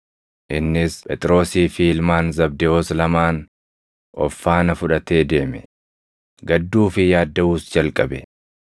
Innis Phexrosii fi ilmaan Zabdewoos lamaan of faana fudhatee deeme; gadduu fi yaaddaʼuus jalqabe.